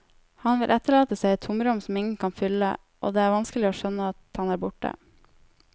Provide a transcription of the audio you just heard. Han vil etterlate seg et tomrom som ingen kan fylle, og det er vanskelig å skjønne at han er borte.